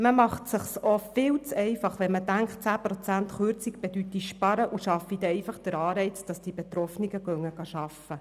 Man macht es sich auch viel zu leicht, wenn man davon ausgeht, eine Kürzung von 10 Prozent bedeute Einsparungen und schaffe bei den Betroffenen einen Anreiz, arbeiten zu gehen.